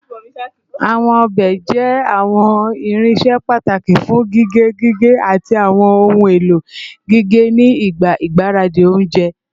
Awọn ọbẹ jẹ awọn irinṣẹ pataki fun gige, gige, ati awọn ohun elo gige ni igba igbaradi ounjẹ